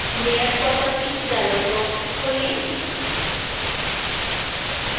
layer properties dialog box खोलें